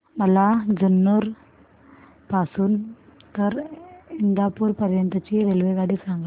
मला जुन्नर पासून तर इंदापूर पर्यंत ची रेल्वेगाडी सांगा